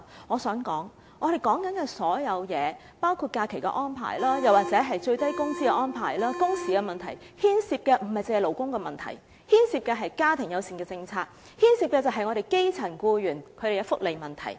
我想指出，我們討論的所有問題，包括假期安排，又或是最低工資的安排、工時問題等，牽涉的不僅是勞工問題，而是家庭友善政策及基層僱員的福利問題。